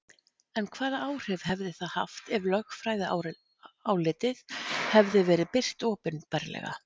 En hvaða áhrif hefði það haft ef lögfræðiálitið hefði verið birt opinberlega?